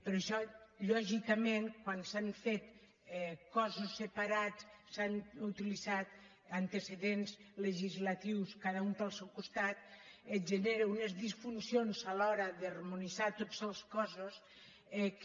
però això lògicament quan s’han fet cossos separats s’han utilitzat antecedents legislatius cada un pel seu costat et genera unes disfuncions a l’hora d’harmonitzar tots els cossos que